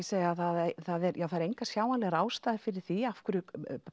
segja að það eru engar sjáanlegar ástæður fyrir því af hverju